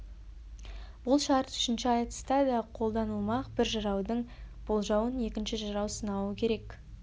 бұл шарт үшінші айтыста да қолданылмақ бір жыраудың болжауын екінші жырау сынауы керек